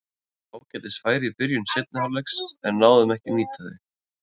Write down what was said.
Við fengum ágætis færi í byrjun seinni hálfleiks en náðum ekki að nýta þau.